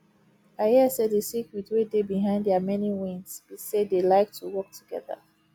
i hear say the secret wey dey behind their many wins be say dey like to work together